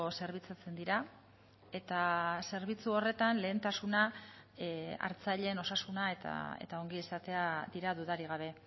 zerbitzatzen dira eta zerbitzu horretan lehentasuna hartzaileen osasuna eta ongizatea dira dudarik gabe